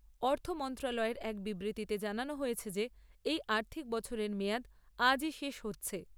অর্থ মন্ত্রণালয়ের এক বিবৃতিতে জানানো হয়েছে যে এই আর্থিক বছরের মেয়াদ আজই শেষ হচ্ছে।